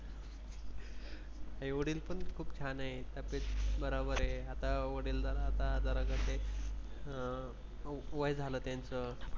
आई वडील पण खूप छान आहे. तब्येत बरोबर आहे आता वडील जरा आता अं वय झालं त्यांचं.